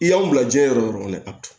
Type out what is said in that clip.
I y'an bila jiɲɛ yɔrɔ kɔnɔ dɛ